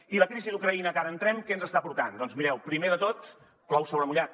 i la crisi d’ucraïna en que ara entrem què ens està portant doncs mireu primer de tot plou sobre mullat